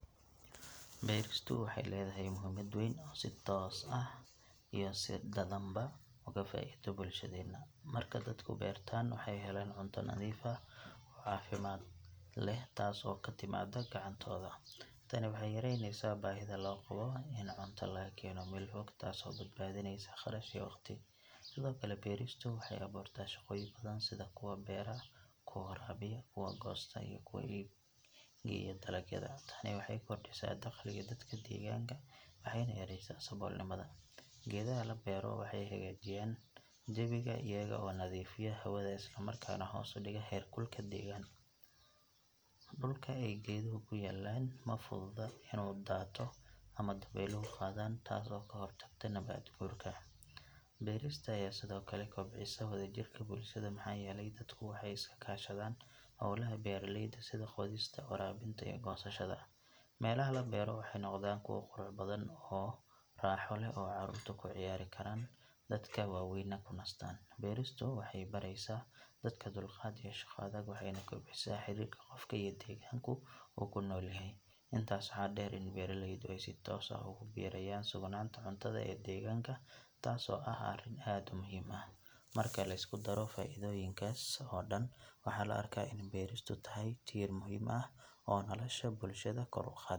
Meel kasto waxeey ledahay muhiimad weyn oo si toos ah ama si dadan ba ugu faido bulshada, marka dadku beertaan waxeey helaan cunto nadiif ah oo cafimaad leh taas oo katimaada gacantooda, tani waxeey yareyneysa bahida loo qabo taas oo badbadineysa qarash iyo waqti, beeristu waxeey abuurta shaqa badan sida kuwa beera, kuwa goosta iyo kuwa geeya dalagyada, tani waxeey keneysa daqliga dadka deeganka waxeeyna yareeysa saboolnimada, geedaha la beero waxeey hagaajinyaan oona nadiifiyaan hawada, dulka aay geedaha kuyaalan mafududo inuu daato ama dabeelahu qaatan taas oo kahor tagto nabad guurka, beerista ayaa sido kale kobcisa wada jirka bulshada waxaa yeele dadka waxeey iska kashadaan holaha beeraleyda sida qodista, waraabinta iyo goosashada, meelaha la beero waxeey nodaan kuwo qurux badan oo raaxo leh oo caruurta kuciyaari karaan, dadka waweyna kunastaan, beeristu waxeey bareysa dadka dulqaad iyo shaqo waxeyna kobcisa xididka qofka iyo deeganku uu kunool yahay, intaas waxaa deer in beeraleyda aay si toos ah ugu birayaan simananta cuntada ee degaanka taas oo ah arin aad muhiim u ah, marka lisku daro faidoyinkaas oo dan waxaa loo arkaa in beristu tahay tiir muhiim ah oo nolosha bulshada kor uqaada.